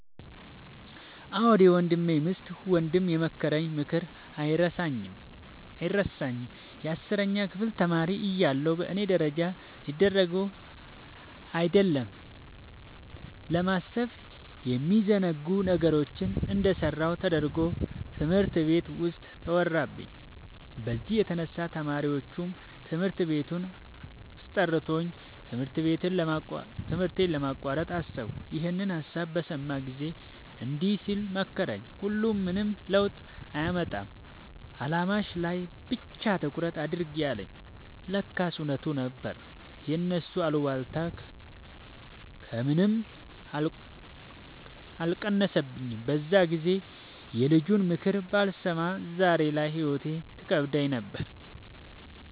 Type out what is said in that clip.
አዎ የወንድሜ ሚስት ወንድም የመከረኝ ምክር አይረሳኝም። የአስረኛ ክፍል ተማሪ እያለሁ በእኔ ደረጃ ሊደረጉ አይደለም ለማሰብ የሚዘገንኑ ነገሮችን እንደሰራሁ ተደርጎ ትምህርት ቤት ውስጥ ተወራብኝ። በዚህ የተነሳ ተማሪዎቹም ትምህርት ቤቱም አስጠልቶኝ ትምህርቴን ለማቋረጥ አሰብኩ። ይኸንን ሀሳብ በሰማ ጊዜ እንዲህ ሲል መከረኝ "ሁሉም ምንም ለውጥ አያመጣም አላማሽ ላይ ብቻ ትኩረት አድርጊ" አለኝ። ለካስ እውነቱን ነበር የእነሱ አሉባልታ ከምኔም አልቀነሰኝም። በዛን ጊዜ የልጁንምክር ባልሰማ ዛሬ ላይ ህይወት ትከብደኝ ነበር።